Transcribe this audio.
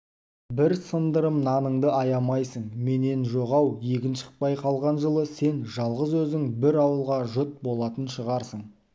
бір сындырым наныңды аяймысың менен жоқ ау егін шықпай қалған жылы сен жалғыз өзің бір ауылға жұт болатын шығарсың